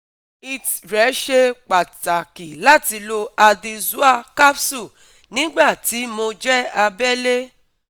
it rẹ̀ ṣe pàtàkì láti lo addy Zoa capsule nígbà tí mo jẹ́ abẹ́lé